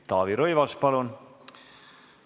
Taavi Rõivas, palun!